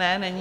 Ne, není.